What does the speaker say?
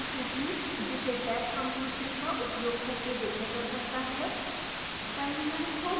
utilites की सूची जिसे tab completion का उपयोग करके देखा जा सकता है